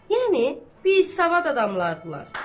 Yəni biz savad adamlardılar.